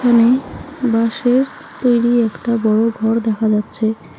এখানে বাঁশের তৈরি একটা বড়ো ঘর দেখা যাচ্ছে।